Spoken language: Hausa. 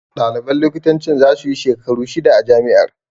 Ɗaliban likitancin za su yi shekaru shida a jami'ar.